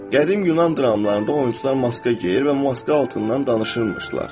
Qədim Yunan dramlarında oyunçular maska geyir və maska altından danışırmışlar.